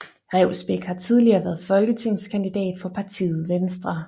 Revsbæk har tidligere været folketingskandidat for partiet Venstre